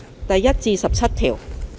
第1至17條。